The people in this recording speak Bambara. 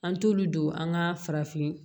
An t'olu don an ka farafin